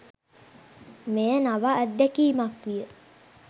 මෙය නව අත්දැකීමක් විය.